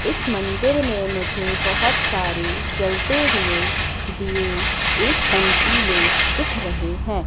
इस मंदिर में मुझे बहोत सारी जलते हुए दिए एक पंक्ति में दिख रहे हैं।